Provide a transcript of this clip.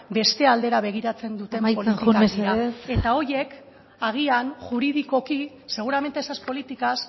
besta aldera begiratzen duten politikak dira amaitzen joan mesedez eta horiek agian juridikoki seguramente esas políticas